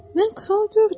Mən kral gördüm.